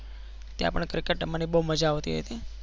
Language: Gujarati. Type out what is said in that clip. ત્યાં પણ cricket રમવાની બહુ મજા આવતી હતી.